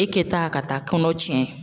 E kɛ taa ka taa kɔnɔ cɛn.